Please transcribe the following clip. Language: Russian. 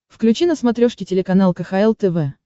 включи на смотрешке телеканал кхл тв